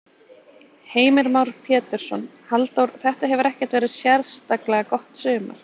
Heimir Már Pétursson: Halldór, þetta hefur ekkert verið sérstaklega gott sumar?